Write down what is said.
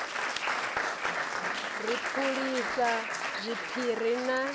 na ri phulisa zwiphiri na